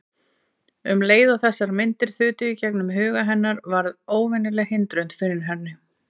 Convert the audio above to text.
Um leið og þessar myndir þutu í gegnum huga hennar varð óvenjuleg hindrun fyrir henni.